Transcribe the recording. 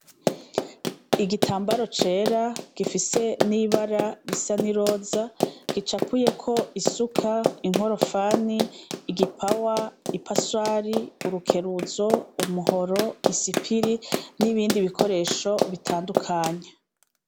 Igitambara cera gifise n'ibara bisa n'iroza gicapuyeko isuka, inkorofani, igipawa, ipaswari, urukeruzo, umuhororo, isipiri n'ibindi bikoresho bitandukanye.